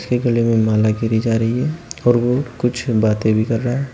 के गले मे माला गिरी जा रही है और वो कुछ बातें भी कर रहा है।